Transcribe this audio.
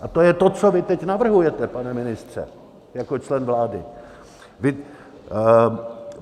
A to je to, co vy teď navrhujete, pane ministře, jako člen vlády.